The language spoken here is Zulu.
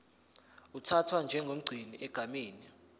uthathwa njengomgcini egameni